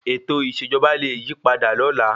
Ètò ìṣèjọba lẹ yí padà lọ́la.